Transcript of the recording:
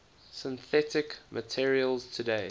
synthetic materials today